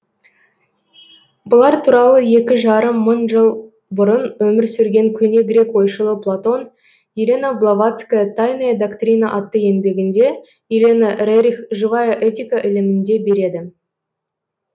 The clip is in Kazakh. бұлар туралы екі жарым мың жыл бұрын өмір сүрген көне грек ойшылы платон елена блаватская тайная доктрина атты еңбегінде елена рерих живая этика ілімінде береді